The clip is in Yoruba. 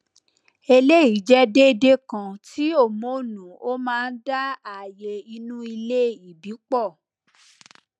eleyi jẹ déédéé kan ti hormonu ó máa dá ààyè inu ilé ìbí pọ